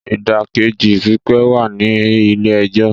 Ìdákẹ́jẹ́ pípé wà ní ilé ẹjọ́.